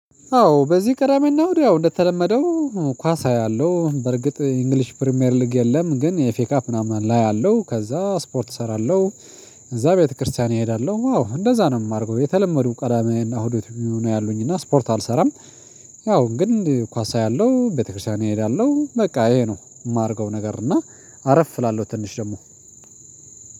አዎ በዚህ ቀዳሜና እሁድ እንደተለመደው ኳስ አያለሁ በርግጥ የእንግሊሽ ፕሪሚየር ሊግ የለም ግን የፌካ ምናምን ላይ አለው ከዛ ስፖርት እሰራለሁ። እዛ ቤተክርስቲያን እሄዳለሁ ዋው እንደዛ ነው የማርገው የተለመዱ ቀዳማዬን እና እሁድኑን ነው ያሉኝ እና ስፖርት አልሰራም። ያው ግን ኳስ አያለሁ ቤተክርስቲያን እሄዳለሁ በቃ ይሄ ነው የማርገው ነገር እና አረፍ እላለሁ ትንሽ ደግሞ።